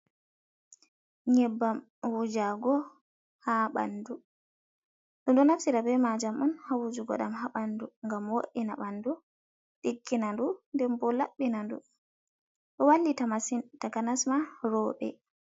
Nyebbam wujago go ha ɓandu, dum ɗo naftira be maajam on ha wujuugo, ɗam ha ɓandu gam wo'ina ɓandu ɗiggna ndu den bo labbina ndu, ɗo wallita masin takanasma rewɓe.